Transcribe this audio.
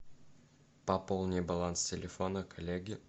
пополни баланс телефона коллеги